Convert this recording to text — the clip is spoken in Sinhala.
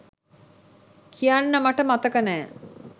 කියන්න මට මතක නෑ.